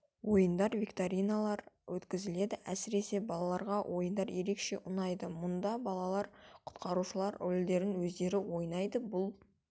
ойындар викториналар өткізіледі әсіресе балаларға ойындар ерекше ұнайды мұнда балалар құтқарушылар рөльдерін өздері ойнайды бұл